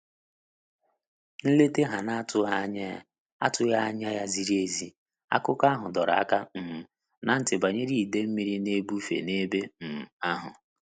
Nleta ha na atughi anya ya atughi anya ya ziri ezi, akụkọ ahu dọrọ aka um ná ntị banyere ide mmiri na ebufe na-ebe um ahu